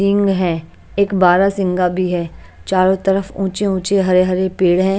Ring है एक बारासिंगा भी है चारो तरफ ऊंचे-ऊंचे हरे-हरे पेड़ है।